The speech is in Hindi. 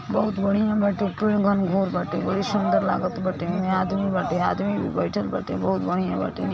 बहुत बढ़ियां बाटे बाटे बड़ी सुंदर लागत बाटे एमे आदमी बाटे आदमी भी बईठल बाटे बहुत बढियां बाटे न् --